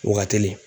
Waa kelen